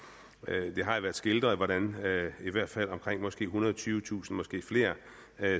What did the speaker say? det har jo været skildret hvordan i hvert fald omkring måske ethundrede og tyvetusind måske flere